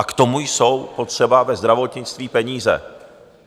A k tomu jsou potřeba ve zdravotnictví peníze.